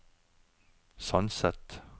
Sandset